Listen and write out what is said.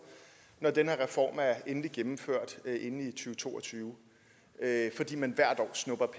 når den her reform er endeligt gennemført i to og tyve fordi man hvert år snupper